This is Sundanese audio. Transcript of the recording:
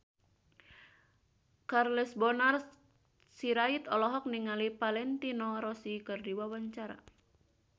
Charles Bonar Sirait olohok ningali Valentino Rossi keur diwawancara